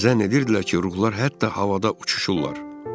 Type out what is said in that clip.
Zənn edirdilər ki, ruhlar hətta havada uçuşurlar.